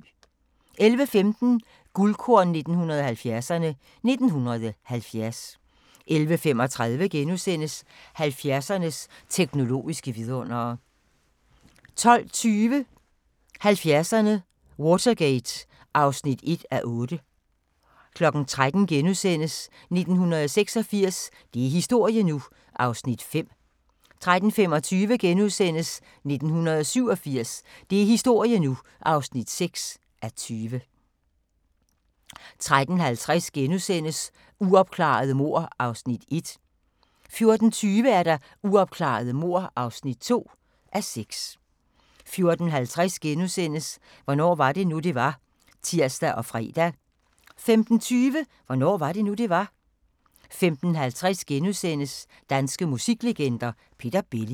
11:15: Guldkorn 1970'erne: 1970 11:35: 70'ernes teknologiske vidundere * 12:20: 70'erne: Watergate (1:8) 13:00: 1986 – det er historie nu! (5:20)* 13:25: 1987 – det er historie nu! (6:20)* 13:50: Uopklarede mord (1:6)* 14:20: Uopklarede mord (2:6) 14:50: Hvornår var det nu, det var? *(tir og fre) 15:20: Hvornår var det nu, det var? 15:50: Danske musiklegender: Peter Belli *